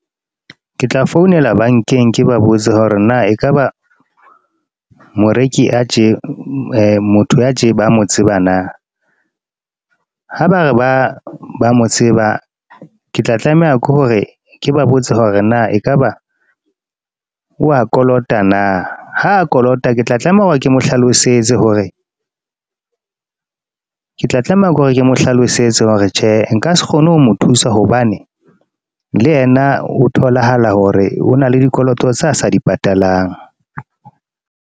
Ke tla founela bank-eng, ke ba botse hore na ekaba moreki a tje, motho ya tje ba mo tseba na. Ha ba re ba ba mo tseba. Ke tla tlameha ke hore ke ba botse hore na ekaba, wa kolota na. Ha kolota, ke tla tlameha hore ke mo hlalosetse hore, ke tla tlameha ke hore ke mo hlalosetse hore tjhe nka se kgone ho mo thusa hobane le yena ho tholahala hore ho na le dikoloto tsa sa di patalang.